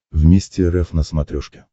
вместе рф на смотрешке